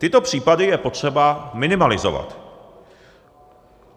Tyto případy je potřeba minimalizovat.